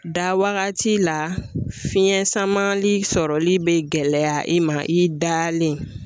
Da waagati la fiɲɛ samali sɔrɔli be gɛlɛya i ma i dalen.